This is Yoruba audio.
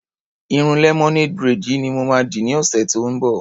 Irun lemonade braid yìí ni mo ma dì ní ọ̀sẹ̀ tí ó ń bọ̀.